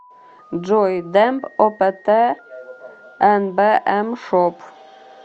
джой демб оптнбмшоп